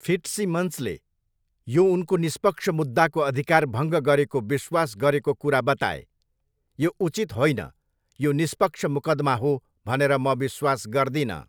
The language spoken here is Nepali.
फिट्सिमन्सले यो उनको निष्पक्ष मुद्दाको अधिकार भङ्ग गरेको विश्वास गरेको कुरा बताए, 'यो उचित होइन। यो निष्पक्ष मुकदमा हो भनेर म विश्वास गर्दिनँ।'